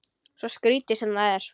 Svo skrítið sem það er.